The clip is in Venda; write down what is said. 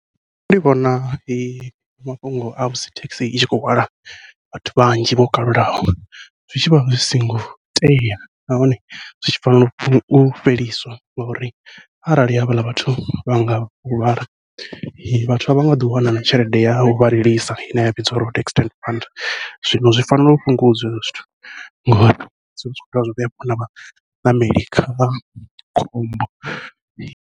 Nṋe ndi vhona mafhungo a musi thekhisi i tshi khou hwala vhathu vhanzhi vho kalulaho zwi tshivha zwi songo tea nahone zwi tshi fanela u fheliswa, ngauri arali havhaḽa vhathu vha nga huvhala vhathu a vha nga ḓo wana na tshelede yau vha lilisa ine ya vhidziwa upfhi road accident funds zwino zwi fanela u fhungudzwa hezwo zwithu ngori zwivha zwi khou dovha zwa vhea vhaṋameli kha khombo.